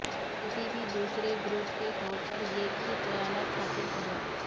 کسی بھی دوسرے گروپ کے طور پر ایک ہی خیالات حاصل کریں